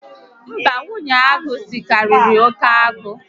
Mba, nwunye agụ sikariri oke agụ